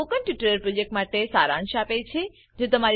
તે spoken tutorial પ્રોજેક્ટનો સારાંશ આપે છે